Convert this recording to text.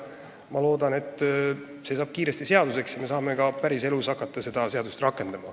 Ma loodan, et see eelnõu saab kiiresti seaduseks ja me saame ka päriselus hakata seda seadust rakendama.